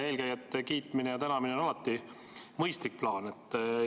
Eelkäijate kiitmine ja tänamine on alati mõistlik plaan.